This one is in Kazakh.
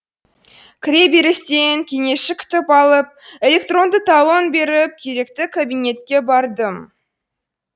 кіреберістен кеңесші күтіп алып электронды талон беріп керекті кабинетке бардым